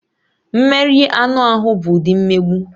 Mmeri anụ ahụ bụ ụdị mmegbu